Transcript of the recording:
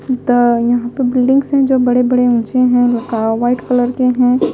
तो यहां पर बिल्डिंग्स हैं जो बड़े-बड़े ऊंचे हैं वाइट कलर के हैं।